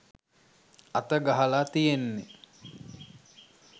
අත ගහලා තියෙන්නෙ.